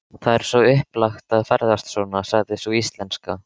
Það er svo upplagt að ferðast svona, sagði sú íslenska.